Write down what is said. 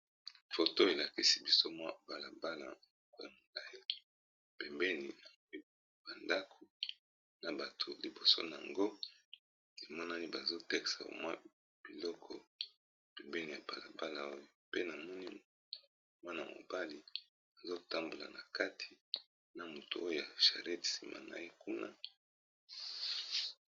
Foto elakisi biso mwa balabala oyo ya mulayi pembeni ba ndaku na bato liboso na yango emonani bazoteka mwa biloko, pembeni ya balabala oyo pe na moni mwana-mobali azotambola na kati, na mutu oya charette nsima na ye kuna.